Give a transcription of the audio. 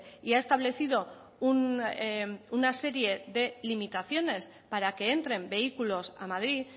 y ha establecido una serie de limitaciones para que entren vehículos a madrid